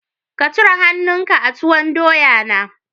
Ka cire han'nu ka a tuwon doya na